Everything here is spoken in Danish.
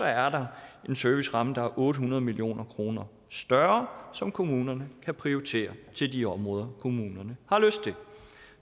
er der en serviceramme der er otte hundrede million kroner større som kommunerne kan prioritere til de områder kommunerne har lyst til